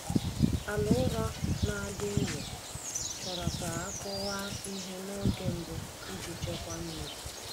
Ala ụrọ na-adị nro chọrọ ka a kụwa ihe n’oge mbụ iji chekwaa mmiri.